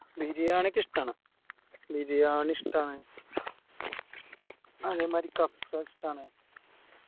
ബിരിയാണിക്കെ ഇഷ്ട്ടാണ് ബിരിയാണി ഇഷ്ട്ടാണ് അതെ മാരി കഫ്‌സ ഇഷ്ട്ടാണ്